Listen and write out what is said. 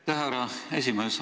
Aitäh, härra esimees!